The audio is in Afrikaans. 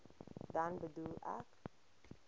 dan bedoel ek